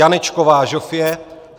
Janečková Žofie